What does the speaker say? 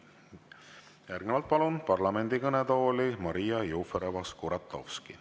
Järgnevalt palun parlamendi kõnetooli Maria Jufereva-Skuratovski.